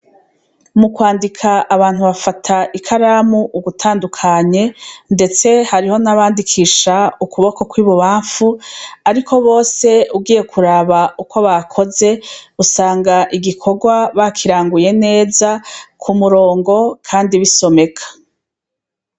Mu kwandika abantu bafata ikaramu ugutandukanye, ndetse hariho n' abandikisha ukuboko kw' ibubanfu. Ariko bose ugiye kuraba ukwo bakoze, usanga igikorwa bakiranguye neza, ku murongo kandi bisomeka.